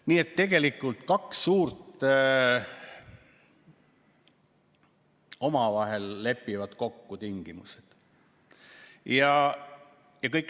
Nii et tegelikult kaks suurt omavahel lepivad kokku tingimused.